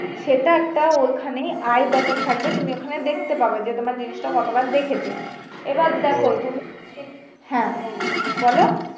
সেটা একটা ওখানে আই বাটোন থাকবে তুমি ওখানে দেখতে পারবে যে তোমার জিনিস টা কতবার দেখেছে এবার দেখো তুমি হ্যা বলো।